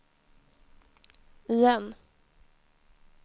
igen